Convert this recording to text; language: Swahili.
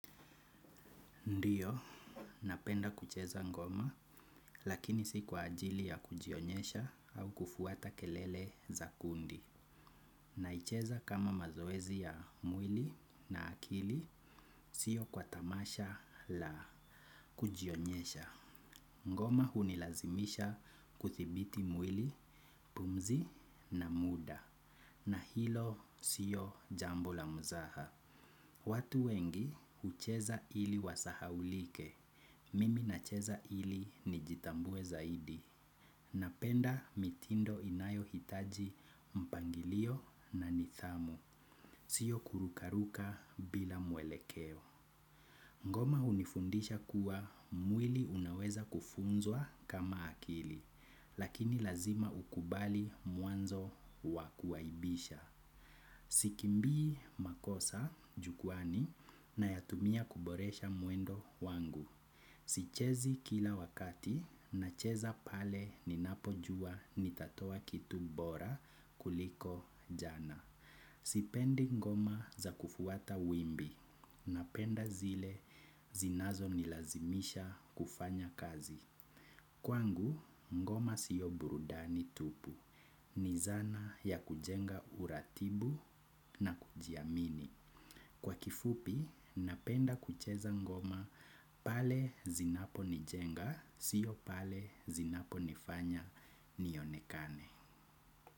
Ndiyo, napenda kucheza ngoma, lakini si kwa ajili ya kujionyesha au kufuata kelele za kundi. Naicheza kama mazoezi ya mwili na akili, siyo kwa tamasha la kujionyesha. Ngoma hunilazimisha kuthibiti mwili, pumzi na muda. Na hilo sio jambo la mzaha. Watu wengi hucheza ili wasahaulike. Mimi nacheza ili nijitambue zaidi. Napenda mitindo inayo hitaji mpangilio na nithamu. Sio kurukaruka bila mwelekeo. Ngoma hunifundisha kuwa mwili unaweza kufunzwa kama akili. Lakini lazima ukubali muanzo wa kuwaibisha. Sikimbii makosa jukwani nayatumia kuboresha muendo wangu. Sichezi kila wakati nacheza pale ninapojua nitatoa kitu bora kuliko jana. Sipendi ngoma za kufuata wimbi napenda zile zinazo nilazimisha kufanya kazi. Kwangu ngoma sio burudani tupu ni zana ya kujenga uratibu na kujiamini. Kwa kifupi napenda kucheza ngoma pale zinapo nijenga siyo pale zinapo nifanya nionekane.